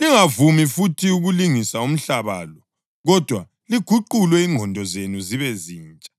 Lingavumi futhi ukulingisa umhlaba lo, kodwa liguqulwe ingqondo zenu zibe zintsha.